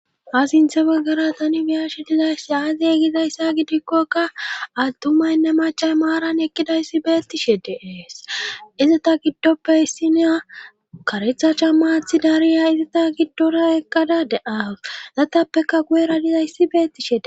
Ha siinththe baggara tani biyashi dizayssi aaze gizayssa gidikkokka attumaynne macay maaran ekkidayssi beettishe deees izata giddoppe hissineya kareththa camma aththidariya izata giddora ekkada de'awus etappekka guyera dizayssi beettishshe de'ees